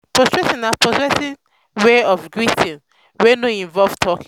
prostrating na prostrating na wey of greeting wey no really involve talking